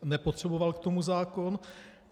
Nepotřeboval k tomu zákon.